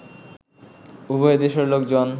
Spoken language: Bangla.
উভয় দেশের লোকজন